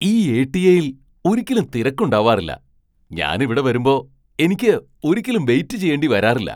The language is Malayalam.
ഈ എ.ടി.എയിൽ ഒരിക്കലും തിരക്ക് ഉണ്ടാവാറില്ല , ഞാൻ ഇവിടെ വരുമ്പോ എനിയ്ക്ക് ഒരിക്കലും വെയിറ്റ് ചെയ്യേണ്ടി വരാറില്ല.